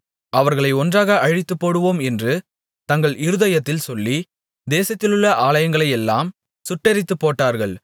அவர்களை ஒன்றாக அழித்துப்போடுவோம் என்று தங்கள் இருதயத்தில் சொல்லி தேசத்திலுள்ள ஆலயங்களையெல்லாம் சுட்டெரித்துப்போட்டார்கள்